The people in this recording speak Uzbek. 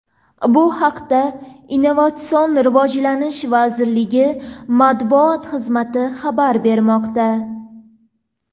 Bu haqda Innovatsion rivojlanish vazirligi Matbuot xizmati xabar bermoqda.